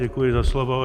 Děkuji za slovo.